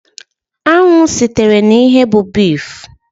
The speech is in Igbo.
Anụ sitere n'ehi bụ bif.